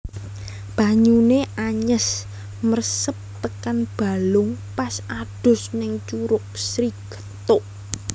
Banyune anyes mresep tekan balung pas adus ning Curug Sri Gethuk